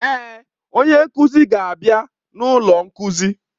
Èé, onye nkuzi ga-abịa n'ọnụ ụlọ nkuzi.